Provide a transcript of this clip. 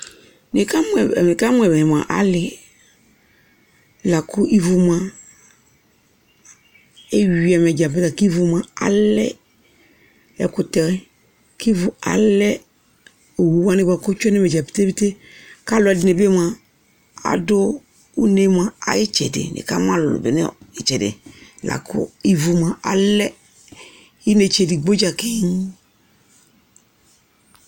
Nɩkamʋ yɛ, nɩkamʋ yɛ mʋa, alɩ la kʋ ivu mʋa, eyui ɛmɛ dza bɩ la kʋ ivu mʋa alɛ ɛkʋtɛ kʋ ivu alɛ owu wanɩ bʋa kʋ ɔtsue nʋ ɛmɛ dza pete pete kʋ alʋɛdɩnɩ bɩ mʋa, adʋ une mʋa, ayʋ ɩtsɛdɩ Nɩkamʋ alʋlʋ bɩ nʋ ɩtsɛdɩ la kʋ ivu mʋa, alɛ inetse edigbo dza keŋ